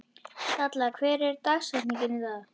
Dalla, hver er dagsetningin í dag?